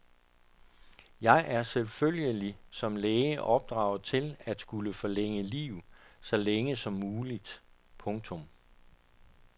Jeg er selvfølgelig som læge opdraget til at skulle forlænge liv så længe som muligt. punktum